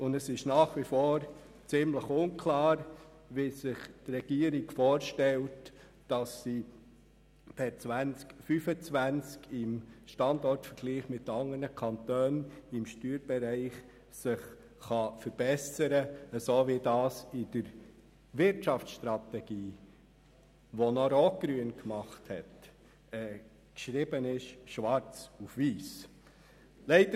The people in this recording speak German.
Zudem ist es nach wie vor ziemlich unklar, wie sich die Regierung per 2025 innerhalb des Standortvergleichs unter den Kantonen im Steuerbereich verbessern will, so wie es in der Wirtschaftsstrategie, die noch von der rot-grünen Regierung erarbeitet worden ist, schwarz auf weiss steht.